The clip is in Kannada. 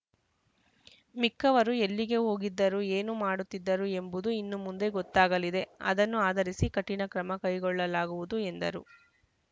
ಮಿಕ್ಕವರು ಎಲ್ಲಿಗೆ ಹೋಗಿದ್ದರು ಏನು ಮಾಡುತ್ತಿದ್ದರು ಎಂಬುದು ಇನ್ನು ಮುಂದೆ ಗೊತ್ತಾಗಲಿದೆ ಅದನ್ನು ಆಧರಿಸಿ ಕಠಿಣ ಕ್ರಮ ಕೈಗೊಳ್ಳಲಾಗುವುದು ಎಂದರು